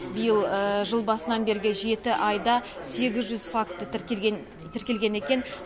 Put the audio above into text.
биыл жыл басынан бергі жеті айда сегіз жүз факті тіркелген екен